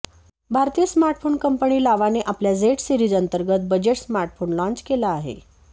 भारतीय smartphone company लावाने आपल्या झेड सीरिज अंतर्गत बजेट स्मार्टफोन लाँच केला आहे